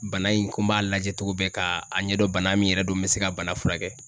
Bana in ko n b'a lajɛ cogo bɛɛ k'a ɲɛdɔn bana min yɛrɛ don n bɛ se ka bana furakɛ.